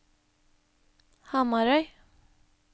Hamarøy